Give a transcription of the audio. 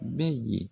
Bɛ ye